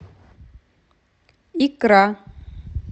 икра